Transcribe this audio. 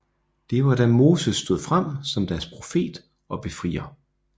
Det var da Moses stod frem som deres profet og befrier